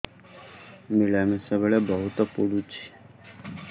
ମିଳାମିଶା ବେଳେ ବହୁତ ପୁଡୁଚି